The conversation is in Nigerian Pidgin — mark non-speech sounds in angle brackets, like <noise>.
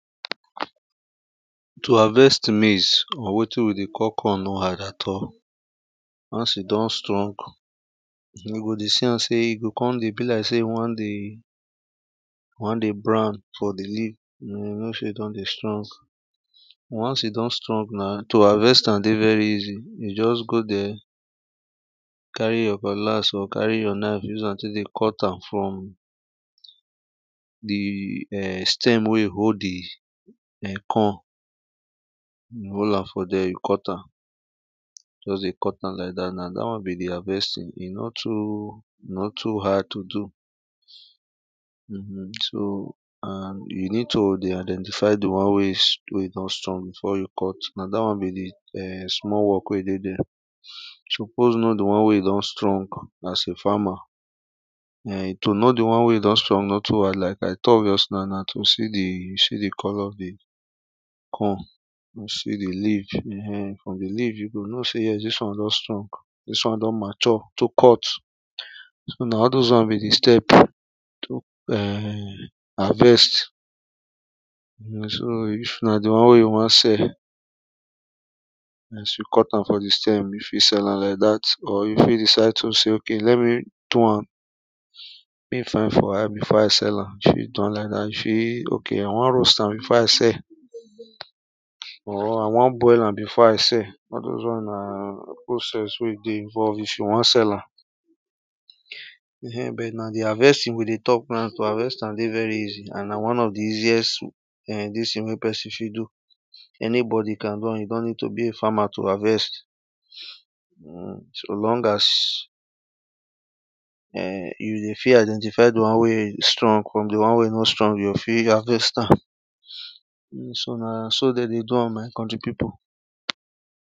to harvest maize or watin we de call corn no hard at all, once e don strong, you go de see am say e go come de be like say e want de, wan de brown for the leaf you know say e don de strong once e don strong now, to harvest am de very easy you just go there, carry your cutlass or carry your knife use am take de cut am from the um stem wey e hold de um corn, hol am for there, you cut am just de cut am like that, na that one be their best tin e no too e no too hard to do um so and you need to de identify the one wey e wey e don strong before you cut. na that one be de small work wey de de, you suppose know the one wey e don strong as a farmer. um to know de one wey e don strong no too hard like too obvious now. na to see the, you see the colour of the corn you see the leaf, um from the leaf you go know say this one don stong, this one don mature to cut. so, na all those ones be the step to um harvest so if na the one wey you want sell as you cut am for the stem you fit sell am like that or you fit decide to say okay let me do am make e fine for eye before i sell am. You fit do am like that you fit okay i want roast am before i sell. or i wan boil am before i sell all those ones na whole stress wey de involve if you want sell am. um but na the harvesting we de talk na, to harvest am de very easy, and na one of the easiest um this thing wey person fit do, anybody can do am, you no need to be a farmer to harvest. um so long as um you de fit identify the one wey strong from de one wey no strong, you go fit harvest am. <sniffs> um so, na so they de do am my country people